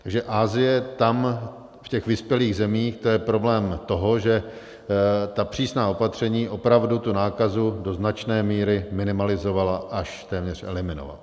Takže Asie, tam v těch vyspělých zemích to je problém toho, že ta přísná opatření opravdu tu nákazu do značné míry minimalizovala, až téměř eliminovala.